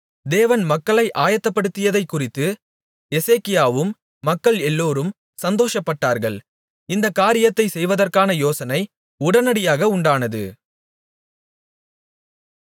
தேவன் மக்களை ஆயத்தப்படுத்தியதைக்குறித்து எசேக்கியாவும் மக்கள் எல்லோரும் சந்தோஷப்பட்டார்கள் இந்தக் காரியத்தை செய்வதற்கான யோசனை உடனடியாக உண்டானது